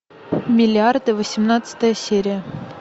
миллиарды восемнадцатая серия